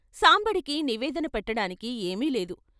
సాంబడికి నివేదన పెట్టడానికి ఏమీ లేదు.